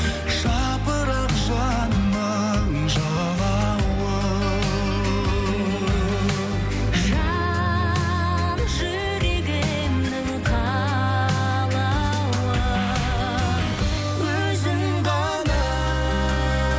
жапырақ жанымның жалауы жан жүрегімнің қалауы өзің ғана